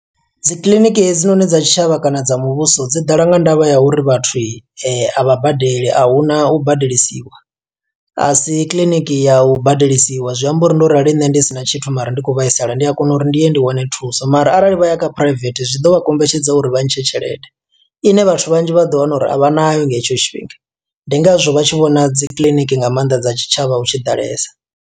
Dzi kiḽiniki hedzinoni dza tshitshavha kana dza muvhuso dzi ḓala nga ndavha ya uri vhathu, a vha badeli ahuna u badelisiwa. A si kiḽiniki ya u badelisiwa, zwi amba uri ndo rali nṋe ndi sina tshithu mara ndi khou vhaisala, ndi a kona uri ndi ye ndi wane thuso. Mara arali vha ya kha private zwi ḓo vha kombetshedza uri vha ntshe tshelede, ine vhathu vhanzhi vha ḓo wana uri a vha nayo nga hetsho tshifhinga. Ndi ngazwo vha tshi vhona dzi kiḽiniki nga maanḓa dza tshitshavha hutshi ḓalesa.